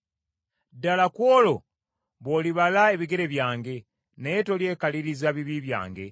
Ddala ku olwo bw’olibala ebigere byange, naye tolyekaliriza bibi byange.